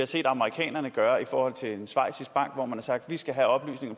set amerikanerne gøre i forhold til en schweizisk bank hvor man har sagt vi skal have oplysninger